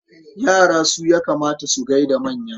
Yara su ya kamata su gai da manya.